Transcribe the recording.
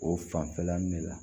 O fanfɛla de la